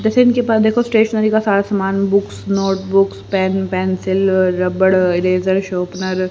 जैसे इनके पास देखो स्टेशनरी का सारा सामान बुक्स नोटबुक्स पेन पेंसिल रबड़ इरेजर सौंपनर --